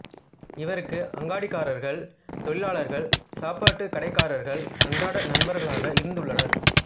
இவருக்கு அங்காடிக்காரர்கள் தொழிலாளர்கள் சாப்பாட்டுக் கடைக்காரர்கள் அன்றாட நண்பர்களாக இருந்து உள்ளனர்